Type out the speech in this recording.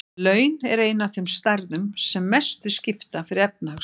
Laun eru ein af þeim stærðum sem mestu skipta fyrir efnahagslífið.